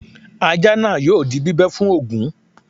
Ajá náà yóò di bíbẹ́ fún Ògún